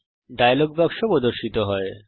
একটি ডায়লগ বাক্স প্রর্দশিত হবে